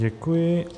Děkuji.